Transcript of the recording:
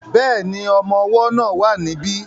Bẹ́ẹ̀ni, ọmọ ọwọ́ náà wà ní bí